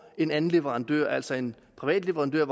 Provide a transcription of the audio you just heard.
en anden leverandør altså en privat leverandør